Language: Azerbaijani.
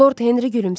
Lord Henri gülümsədi.